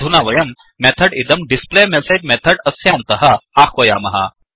अधुना वयं मेथड् इदं डिस् प्ले मेसेज् मेथड् अस्यान्तः आह्वयामः